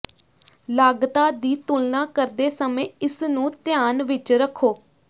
ਲਾਗਤਾਂ ਦੀ ਤੁਲਨਾ ਕਰਦੇ ਸਮੇਂ ਇਸ ਨੂੰ ਧਿਆਨ ਵਿਚ ਰੱਖੋ